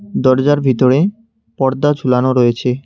দরজার ভিতরে পর্দা ঝুলানো রয়েছে।